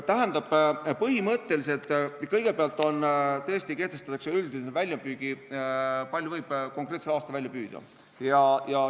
Tähendab, kõigepealt kehtestatakse üldine väljapüük, kui palju võib konkreetsel aastal välja püüda.